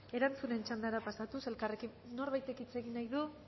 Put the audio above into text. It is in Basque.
erantzunen txandara pasatuz norbaitek hitz egin nahi du